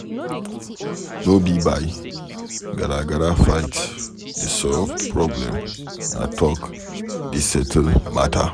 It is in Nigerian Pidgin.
No be by garagara fight dey solve problem na talk dey settle matter.